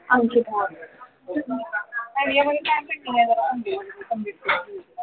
Ankita